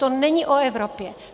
To není o Evropě.